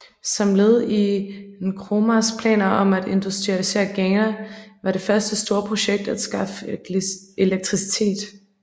Som led i Nkrumahs planer om at industrialisere Ghana var det første store projekt at skaffe elektricitet